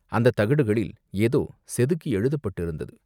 அந்தத் தகடுகளில் ஏதோ செதுக்கி எழுதப்பட்டிருந்தது.